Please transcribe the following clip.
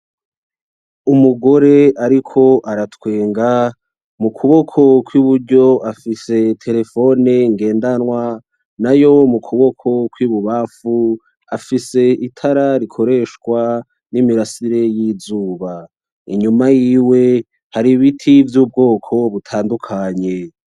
Umugore ariko aratwenga, mukuboko kw'iburyo afise telephone ngendanwa, nayo mu kuboko kw'ibubamfu afise itara rikoreshwa n'imirasire y'izuba, inyuma yiwe hari ibiti vy'ubwoko butandukanye.